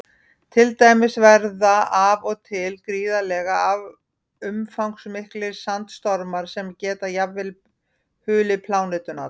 Til dæmis verða af og til gríðarlega umfangsmiklir sandstormar sem geta jafnvel hulið plánetuna alla.